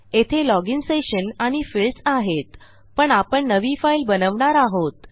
येथे login session आणि fields आहेत पण आपण नवी फाईल बनवणार आहोत